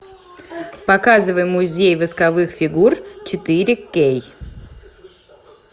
показывай музей восковых фигур четыре кей